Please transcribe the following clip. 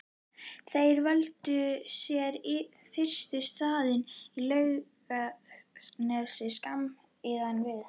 Þeir völdu sér fyrst stað við Laugarnes skammt innan við